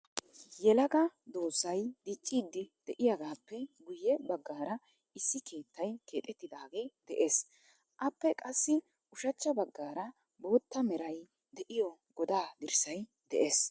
Yelaga doozay diccidi de'iyaagappe guyye baggaaraissi keettay keexxetidaage de'ees. Appe qassi ushachcha baggaara bootta meray de'iyo godaa dirssay de'ees .